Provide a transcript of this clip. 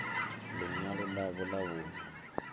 ḽi ṅwalo ḽavho ḽa vhuṋe